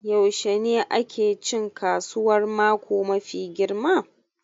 Yaushe ne ake cin kasuwar mako mafi girma